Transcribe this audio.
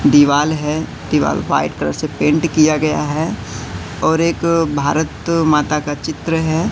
दीवाल है दीवाल व्हाइट कलर से पेंट किया गया है और एक भारत माता का चित्र है।